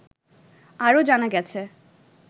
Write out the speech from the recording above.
আরও জানা গেছে